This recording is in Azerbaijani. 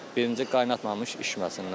Birinci qaynatmamış içməsinlər.